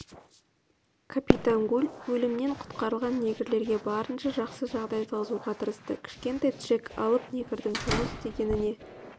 капитан гуль өлімнен құтқарылған негрлерге барынша жақсы жағдай туғызуға тырысты кішкентай джек алып негрдің жұмыс істегеніне